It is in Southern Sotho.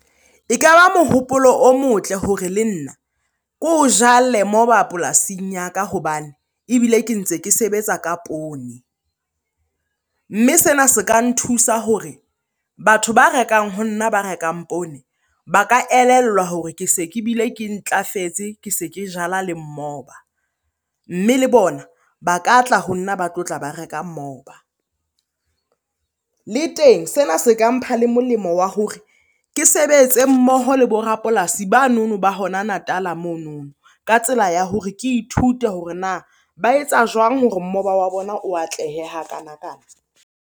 E ka ba mohopolo o motle hore le nna ke ho jale moba polasing ya ka hobane ebile ke ntse ke sebetsa ka poone. Mme sena se ka nthusa hore batho ba rekang ho nna ba rekang poone, ba ka elellwa hore ke se ke bile ke ntlafetse, ke se ke jala le mmoba. Mme le bona ba ka tla ho nna ba tlotla ba reka mmoba. Le teng sena se ka mpha le molemo wa hore ke sebetse mmoho le bo rapolasi ba nono ba hona Natal-a mono. Ka tsela ya hore ke ithute hore na ba etsa jwang hore mmoba wa bona o atlehe hakanakana?